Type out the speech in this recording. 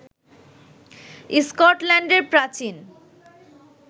স্কটল্যান্ডের প্রাচীন